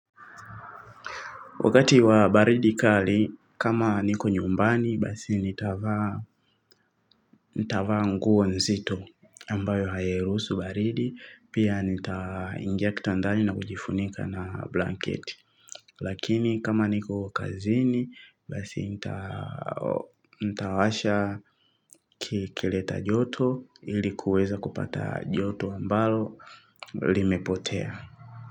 Wakati wa baridi kali, kama niko nyumbani, basi nitavaa nguo nzito, ambayo hailuhusu baridi, pia nitaingia kitandani na kujifunika na blanketi. Lakini kama niko kazini, basi nitawasha kileta joto ili kuweza kupata joto ambalo limepotea.